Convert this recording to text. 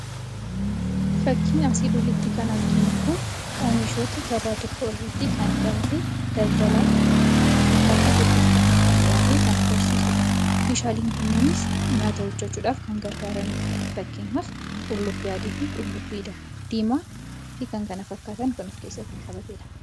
Fakkiin asii olitti arginu kun oomishoota gabaa tokko irratti bittaa fi gurgurtaaf dhiyaate kan agarsiisudha. Oomishaaleen kunis nyaata hojjechuuf kan gargaaranidha. Fakkeenyaaf: qullubbii diimaa, qullubbii adii, qaaraa fi kan kana fakkaatanidha.